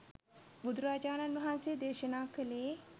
බුදුරජාණන් වහන්සේ දේශනාකළේ